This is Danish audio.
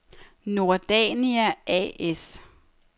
Nordania A/S